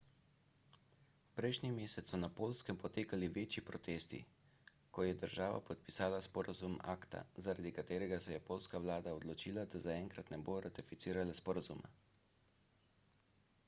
prejšnji mesec so na poljskem potekali večji protesti ko je država podpisala sporazum acta zaradi katerega se je poljska vlada odločila da zaenkrat ne bo ratificirala sporazuma